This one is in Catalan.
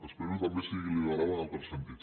espero que també sigui liberal en altres sentits